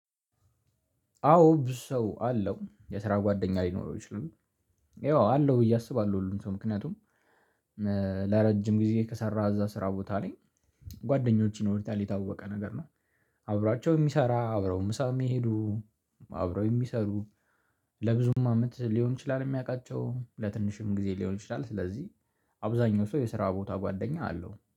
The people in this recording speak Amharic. አዎ ብዙ ሰው አለው የስራ ጓደኛ ሊኖረው ይችላል። ያው አለው ብዬ አስባለሁ ሁሉም ሰው ምክንያቱም ለረጅም ጊዜ ከሰራህ እዛ ስራ ቦታ ላይ ጓደኞች ይኖሩታል የታወቀ ነገር ነው። አብራቸው የሚሰራ አብረው ምሳ የሚሄዱ አብረው የሚሰሩ ለብዙም አመት ሊሆን ይችላል። የሚያውቃቸው ለትንሽም ጊዜ ሊሆን ይችላል ስለዚህ አብዛኛው ሰው የስራ ቦታ ጓደኛ አለው።